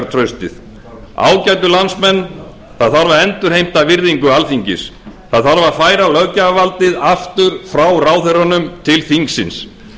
traustið ágætu landsmenn það þarf að endurheimta virðingu alþingis það þarf að færa löggjafarvaldið aftur frá ráðherrunum til þingsins